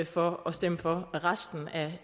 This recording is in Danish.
for at stemme for resten